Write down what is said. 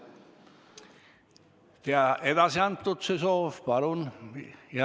Jah, edasi antud see soov.